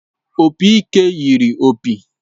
Opị ike yiri opi